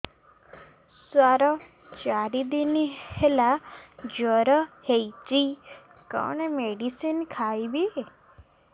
ସାର ଚାରି ଦିନ ହେଲା ଜ୍ଵର ହେଇଚି କଣ ମେଡିସିନ ଖାଇବି